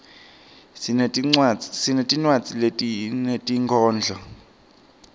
sinetinwadzi tetinkhondlo